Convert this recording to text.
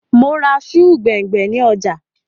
Mò ra sùù gbẹ̀ngbẹ̀ ni ọjà